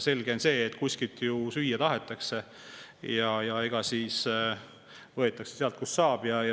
Selge on see, et süüa ju tahetakse ja võetakse sealt, kust saab.